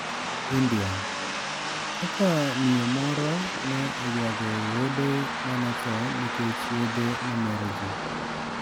India: Kaka miyo moro ne oywago wuode ma notho nikech yedhe mameroji